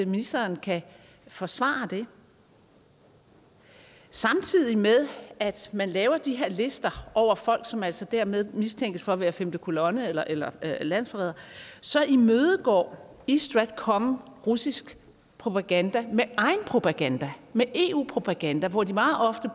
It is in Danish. ministeren kan forsvare det samtidig med at man laver de her lister over folk som altså dermed mistænkes for at være femte kolonne eller eller landsforrædere imødegår east stratcom russisk propaganda med egen propaganda med eu propaganda hvor de meget ofte